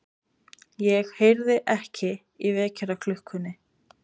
Ég heyrði ekki í vekjaraklukkunni.